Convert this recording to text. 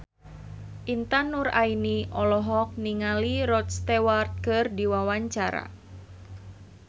Intan Nuraini olohok ningali Rod Stewart keur diwawancara